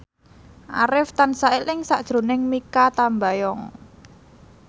Arif tansah eling sakjroning Mikha Tambayong